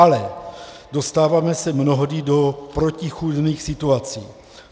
Ale dostáváme se mnohdy do protichůdných situací.